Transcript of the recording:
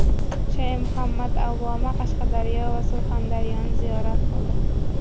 Shayx Muhammad Avvoma Qashqadaryo va Surxondaryoni ziyorat qildi .